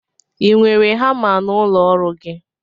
Ị nwere hama n'ụlọ ọrụ gị?